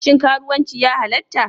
Shin karuwanci ya halatta?